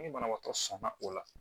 Ni banabaatɔ sɔnna o la